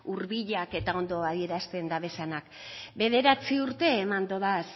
hurbilak eta ondo adierazten dabezanak bederatzi urte eman dodaz